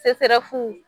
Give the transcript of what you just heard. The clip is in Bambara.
fu